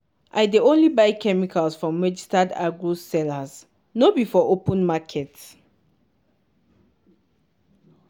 i dey only buy chemicals from registered agro sellers no be for open market.